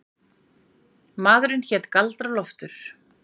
Maðurinn hét Galdra-Loftur.